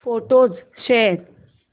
photos शोध